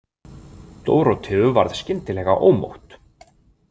Dóróteu varð skyndilega ómótt.